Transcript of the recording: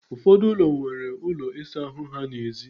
Ụfọdụ ụlọ nwere ụlọ ịsa ahụ ha n'èzí.